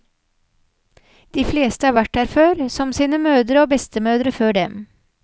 De fleste har vært her før, som sine mødre og bestemødre før dem.